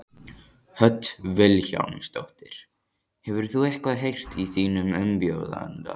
Hödd Vilhjálmsdóttir: Hefur þú eitthvað heyrt í þínum umbjóðanda?